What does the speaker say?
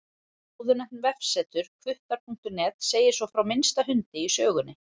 Áðurnefnt vefsetur, hvuttar.net, segir svo frá minnsta hundi í sögunni.